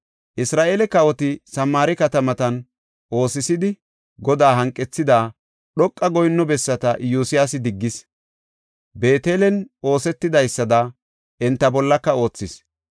Isra7eele kawoti Samaare katamatan oosisidi, Godaa hanqethida, dhoqa goyinno bessata Iyosyaasi diggis; Beetelen oothidaysada, enta bollaka oothis.